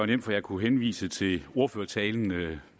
nemt for jeg kunne henvise til ordførertalen ved